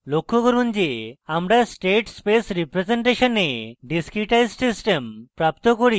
লক্ষ্য করুন যে আমরা state space representation we discretized system প্রাপ্ত করি